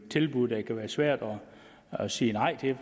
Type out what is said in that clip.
tilbud det kan være svært at sige nej til